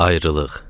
Ayrılıq.